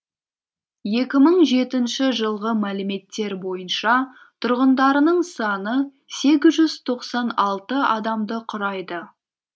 екі мың жетінші жылғы мәліметтер бойынша тұрғындарының саны сегіз жүз тоқсан алты адамды құрайды